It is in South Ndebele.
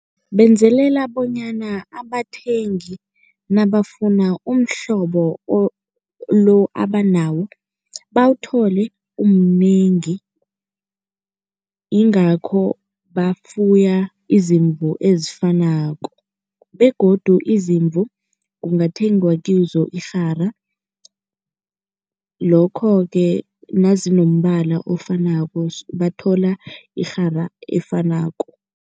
Benzelela bonyana abathengi nabafuna umhlobo lo abanawo bawuthole umnengi, yingakho bafuya izimvu ezifanako begodu izimvu kungathengwa kizo irhara lokho-ke nazinombala ofanako bathola irhara efanako.